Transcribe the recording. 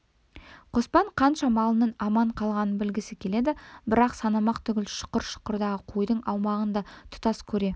қоспан қанша малының аман қалғанын білгісі келеді бірақ санамақ түгіл шұқыр-шұқырдағы қойдың аумағын да тұтас көре